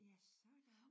Ja sådan